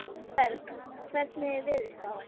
Berg, hvernig er veðurspáin?